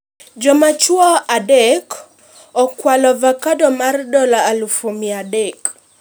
Joma chuo adek okwalo ovacado mar dola eluf mia adek